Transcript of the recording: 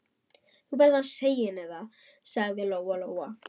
Þú verður að segja henni það, sagði Lóa Lóa.